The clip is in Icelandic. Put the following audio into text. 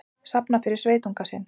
Safna fyrir sveitunga sinn